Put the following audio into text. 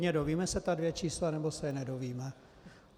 Dozvíme se ta dvě čísla, nebo se je nedozvíme?